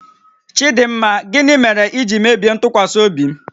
Chidịmma, gịnị mere i ji mebie ntụkwasị obi m?